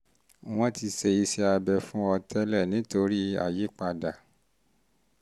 wọ́n ti ṣe iṣẹ́ abẹ fún ọ tẹ́lẹ̀ nítorí àyípadà